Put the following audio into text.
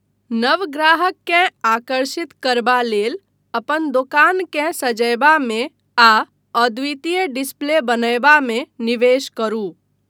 नव ग्राहककेँ आकर्षित करबा लेल, अपन दोकानकेँ सजयबामे आ अद्वितीय डिस्प्ले बनयबा मे निवेश करू।